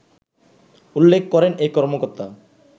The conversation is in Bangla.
উল্লেখ করেন এই কর্মকর্তা